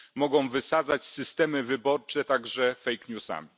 Mogą wysadzać systemy wyborcze także fake newsami.